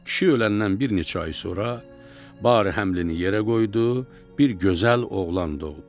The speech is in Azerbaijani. Kişi öləndən bir neçə ay sonra, bari həmlini yerə qoydu, bir gözəl oğlan doğdu.